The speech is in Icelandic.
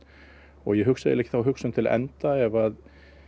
og ég hugsa ekki þá hugsun til enda ef